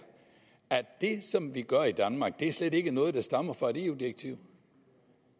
at det som vi gør i danmark slet ikke er noget der stammer fra et eu direktiv